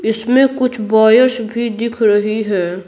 इसमे कुछ बायर्स भी दिख रही है।